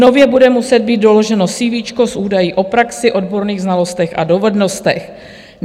Nově bude muset být doloženo CV s údaji o praxi, odborných znalostech a dovednostech.